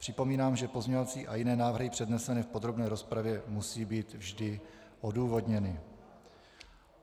Připomínám, že pozměňovací a jiné návrhy přednesené v podrobné rozpravě musí být vždy odůvodněny.